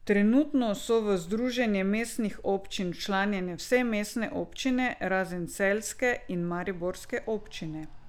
Trenutno so v Združenje mestnih občin včlanjene vse mestne občine, razen celjske in mariborske občine.